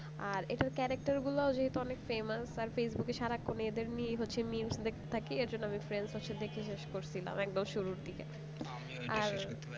আর এটা character গুলো যেহেতু অনে famous আর ফেসবুকে সারাক্ষণ এদের নিয়েই হচ্ছে mems দেখতে থাকি এর জন্য আমি তাকে দেখে শেষ করছিলাম একদম শুরুর দিকে